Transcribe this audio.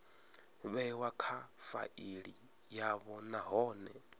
vhewa kha faili yavho nahone